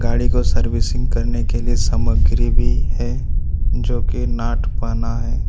गाड़ी को सर्विसिंग करने के लिए कुछ सामग्री भी है जो की नाट पहना है।